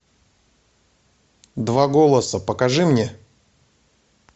два голоса покажи мне